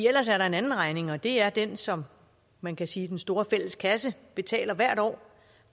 ellers er der en anden regning og det er den som man kan sige den store fælles kasse betaler hvert år